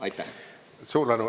Suur tänu!